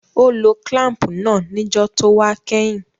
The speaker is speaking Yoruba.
Ó lo clamp náà níjó tówá kẹ́hìn